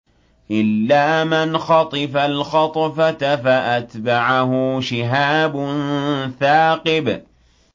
إِلَّا مَنْ خَطِفَ الْخَطْفَةَ فَأَتْبَعَهُ شِهَابٌ ثَاقِبٌ